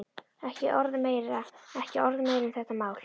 Ekki orð meira, ekki orð meira um þetta mál.